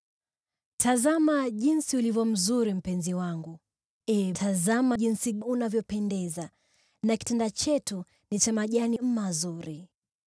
Tazama jinsi ulivyo mzuri, mpenzi wangu! Ee, tazama jinsi unavyopendeza! Na kitanda chetu ni cha majani mazuri.